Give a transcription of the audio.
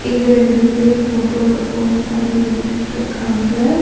இங்க ரெண்டு பேர் ஃபோட்டோக்கு போஸ் பண்ணி நின்னுட்ருக்காங்க.